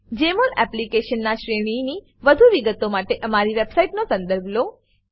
જમોલ application ના ની શ્રેણીની વધુ વિગતો માટે અમારી વેબસાઈટનો સંદર્ભ લો